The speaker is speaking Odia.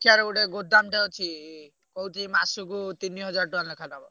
ଦେଖିଆରେ ଗୋଟେ ଗୋଦାମଟେ ଅଛି। କହୁଛି ମାସକୁ ତିନିହଜାର ଟଙ୍କା ଲେଖା ନବ।